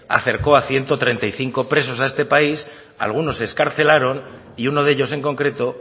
acercó a ciento treinta y cinco presos a este país algunos se excarcelaron y uno de ellos en concreto